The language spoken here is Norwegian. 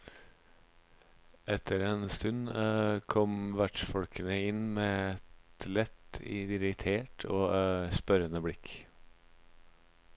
Etter en stund kom vertsfolkene inn med et lett irritert og spørrende blikk.